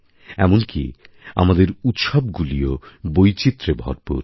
এমনকি আমাদের উৎসবগুলিও বৈচিত্র্যে ভরপুর